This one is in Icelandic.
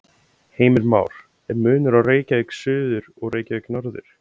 Heimir Már: Er munur á Reykjavík suður og Reykjavík norður?